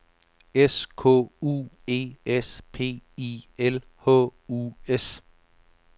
S K U E S P I L H U S